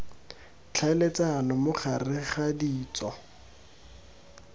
tlhaeletsano mo gareg ga ditso